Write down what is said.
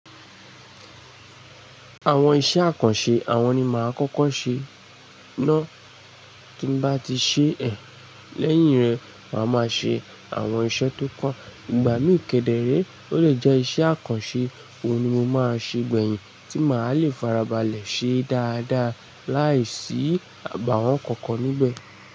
Àwọn iṣẹ́ àkànṣe, àwọn ni máa kọ́kọ́ ṣe. Náà tí bá ti ṣe ẹ̀, lẹ́yìn rẹ̀, màá máa ṣe àwọn iṣẹ́ tó kàn. Ìgbà míì kẹ̀dẹ̀ ré, ó lè jẹ́ iṣẹ́ àkànṣe. Ó ni mo máa ṣe gbẹ̀yìn tí màá le farabalẹ̀ ṣe dáadáa, láìsí àbàwọ́n kankan nígbẹ̀.